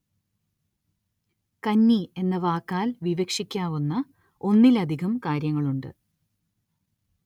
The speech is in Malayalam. കന്നി എന്ന വാക്കാല്‍ വിവക്ഷിക്കാവുന്ന ഒന്നിലധികം കാര്യങ്ങളുണ്ട്